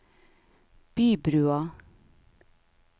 Bybrua